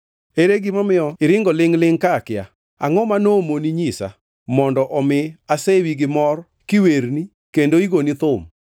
Ere gima nomiyo iringo lingʼ-lingʼ ka akia? Angʼo ma nomoni nyisa, mondo omi asewi gi mor kiwerni kendo igoni thum?